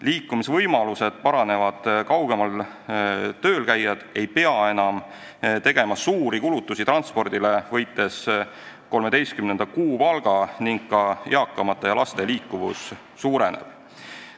Liikumisvõimalused paranevad ja kaugemal tööl käijad ei pea enam tegema suuri kulutusi transpordile, võites 13. kuupalga, ning ka eakate ja laste liikuvus suureneb.